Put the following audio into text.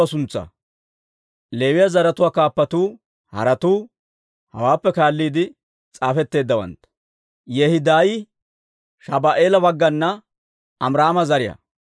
Leewiyaa zaratuwaa kaappatuu haratuu hawaappe kaalliide s'aafetteeddawantta. Yehidaayi Shabu'eela baggana Amiraama zariyaa.